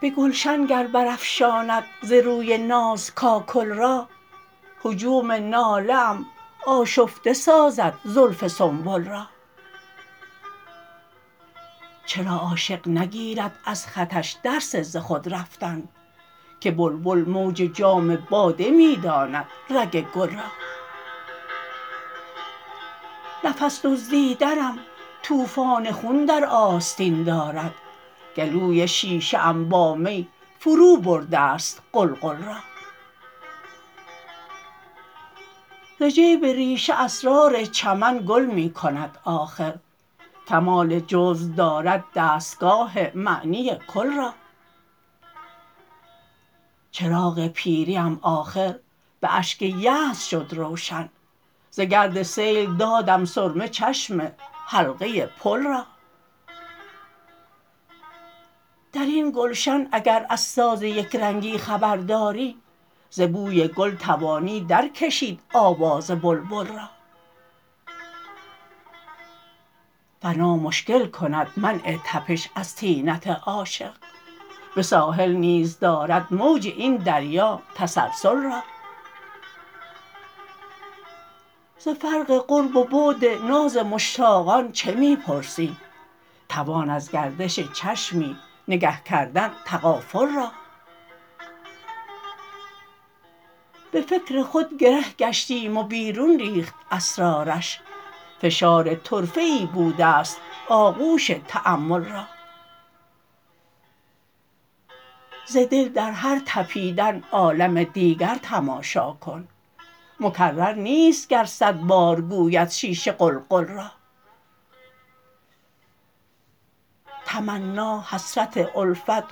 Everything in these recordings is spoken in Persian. به گلشن گر برافشاند ز روی ناز کاکل را هجوم ناله ام آشفته سازد زلف سنبل را چرا عاشق نگیرد ازخطش درس ز خود رفتن که بلبل موج جام باده می خواند رگ گل را نفس دزدیدنم توفان خون در آستین دارد گلوی شیشه ام بامی فروبرده ست قلقل را ز جیب ریشه اسرار چمن گل می کند آخر کمال جزو دارد دستگاه معنی کل را چراغ پیری ام آخربه اشک یأس شد روشن زگردسیل دادم سرمه چشم حلقه پل را درین گلشن اگر از ساز یکرنگی خبر داری ز بوی گل توانی درکشید آوز بلبل را فنا مشکل کند منع تپش از طینت عاشق به ساحل نیز درد موج این دریا تسلسل را ز فرق قرب و بعد نازمشتاقان چه می پرسی توان ازگردش چشمی نگه کردن تغافل را به فکر خودگره گشتیم وبیرون ریخت اسرارش فشار طرفه ای بوده ست آغوش تأمل را ز دل در هر تپیدن عالم دیگر تماشا کن مکررنیست گرصدبار گویدشیشه قلقل را تمنا حسرت الفت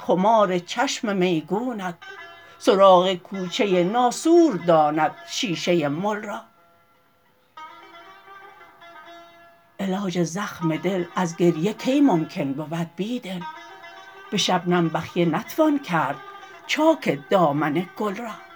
خمارچشم میگونت سراغ کوچه ناسور داند شیشه مل را علاج زخم دل ازگریه کی ممکن بود بیدل به شبنم بخیه نتوان کرد چاک دامن گل را